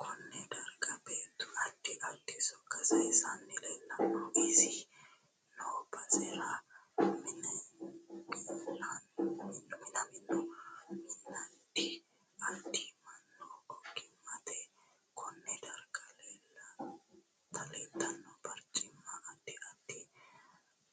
KOnne darga beetu addi addi sokka sayiisanni leelanno isi noo basera minamino miniaddi addi mannu ogimaniiti konne darga leeltanno barcimma addi addi